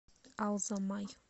алзамай